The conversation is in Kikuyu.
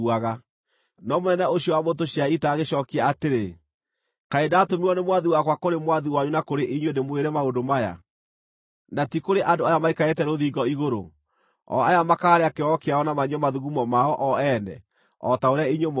No mũnene ũcio wa mbũtũ cia ita agĩcookia atĩrĩ, “Kaĩ ndatũmirwo nĩ mwathi wakwa kũrĩ mwathi wanyu na kũrĩ inyuĩ ndĩmwĩre maũndũ maya, na ti kũrĩ andũ aya maikarĩte rũthingo igũrũ, o aya makaarĩa kĩoro kĩao na manyue mathugumo mao o ene o ta ũrĩa inyuĩ mũgeeka?”